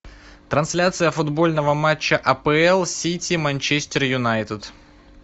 трансляция футбольного матча апл сити манчестер юнайтед